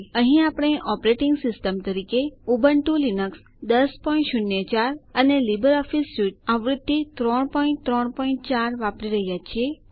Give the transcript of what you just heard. અહીં આપણે operating system તરીકે ઉબુન્ટૂ લીનક્સ ૧૦૦૪ અને લીબર ઓફીસ સ્યુટ આવૃત્તિ ૩૩૪ વાપરી રહ્યા છીએ